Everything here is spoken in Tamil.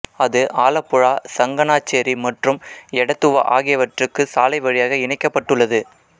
இது ஆலப்புழா சங்கனாச்சேரி மற்றும் எடத்துவா ஆகியவற்றுக்கு சாலை வழியாக இணைக்கப்பட்டுள்ளது